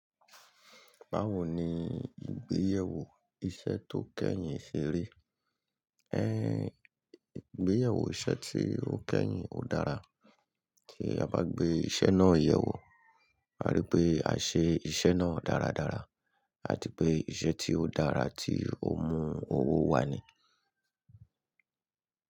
Báwo ni ìgbéyàwó iṣẹ́ tó kẹ́yìn ṣe rí? Ìgbéyewó iṣẹ́ tí ó kẹ́yìn ò dára. Kí a bá gbé iṣẹ́ náà yẹ̀wò, a rí pé àṣẹ iṣẹ́ náà dáradára, àti pé iṣẹ́ tí ó dára tí ó mú owó wá ni.